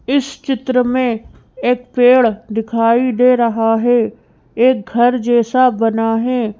इस चित्र में एक पेड़ दिखाई दे रहा है। एक घर जैसा बना है।